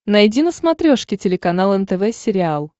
найди на смотрешке телеканал нтв сериал